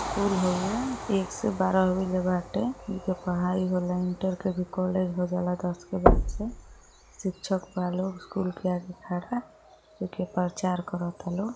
School हउवे। एक से बारह बजे ले बाटे। एईजा पढ़ाई होला। इंटर के भी कॉलेज हो जाला दस के बाद से। शिक्षक बा लोग स्कूल के आगे खड़ा जो कि प्रचार करता लोग।